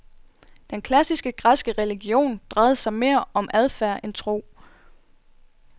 Den klassiske græske religion drejede sig mere om adfærd end om tro.